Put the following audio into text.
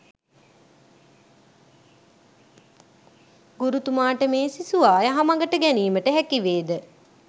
ගුරුතුමාට මේ සිසුවා යහමගට ගැනීමට හැකිවේද?